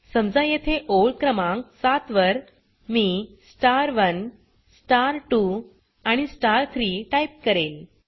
समजा येथे ओळ क्रमांक 7वर मी star1 star2 आणि star3 टाइप करेल